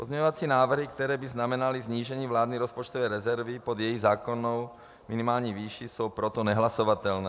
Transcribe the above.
Pozměňovací návrhy, které by znamenaly snížení vládní rozpočtové rezervy pod její zákonnou minimální výši, jsou proto nehlasovatelné.